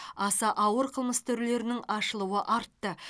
аса ауыр қылмыс түрлерінің ашылуы артты